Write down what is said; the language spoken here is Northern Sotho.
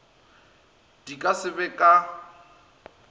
di ka se be ka